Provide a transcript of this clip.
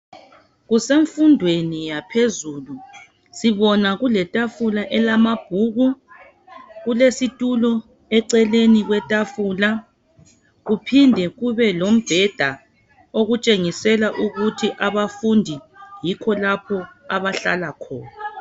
Kusemfundweni yaphezulu sibona kuletafula elamabhuku kulesitulo eceleni kwetafula kuphinde kube lombheda okutshengisela ukuthi abafundi yikho lapho abahlala khona.